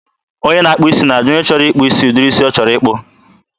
onye na-akpụ isi na-ajụ onye chọrọ ịkpụ isi ụdịrị isi ọ chọrọ.